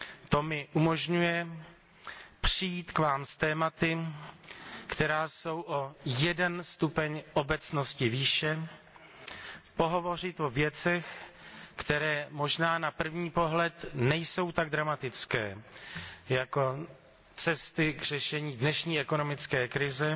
To mi umožňuje přijít k vám s tématy, která jsou o jeden stupeň obecnosti výše, pohovořit o věcech, které možná na první pohled nejsou tak dramatické jako cesty k řešení dnešní ekonomické krize,